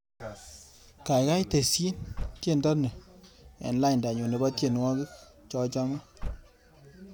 Gaigai tesyi tyendo ni eng laindanyu nebo tyenwogik chachame